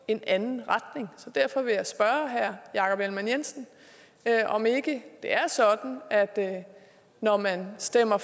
en anden retning derfor vil jeg spørge herre jakob ellemann jensen om ikke det er sådan at når man stemmer